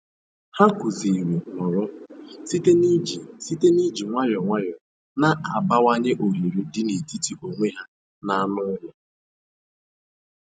Ha kụziri "nọrọ" site n'iji site n'iji nwayọ nwayọ na-abawanye ohere dị n'etiti onwe ha na anụ ụlọ.